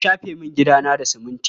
An shafe min gidana da siminti.